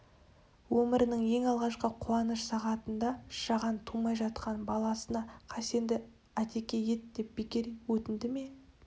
өмірінің ең алғашқы қуаныш сағатында жаған тумай жатқан баласына хасенді атеке ет деп бекер өтінді ме